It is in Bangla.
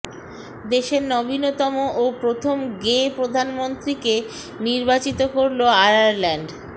দেশের নবীনতম ও প্রথম গে প্রধানমন্ত্রীকে নির্বাচিত করল আয়ারল্যান্ড